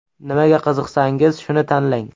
Nimaga qiziqsangiz, shuni tanlang.